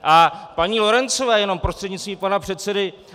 A paní Lorencové jenom prostřednictvím pana předsedy.